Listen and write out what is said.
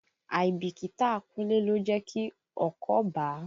Àìbìkítà Kúnlé ló jẹ́ kí ọkọ́ bàá.